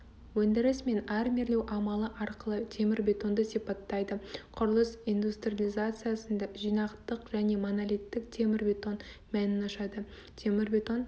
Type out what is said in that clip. өндіріс мен армирлеу амалы арқылы темірбетонды сипаттайды құрылыс индустриализациясында жинақтық және монолиттік темірбетон мәнін ашады темірбетон